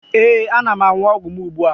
Ee, ana m aṅụ ọgwụ m ugbua